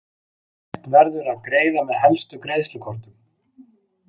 Hægt verður að greiða með helstu greiðslukortum.